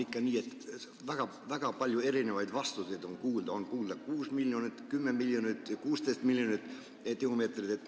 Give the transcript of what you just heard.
Ikka sellepärast, et kuulda on väga palju erinevaid arve: 6 miljonit, 10 miljonit ja 16 miljonit tihumeetrit.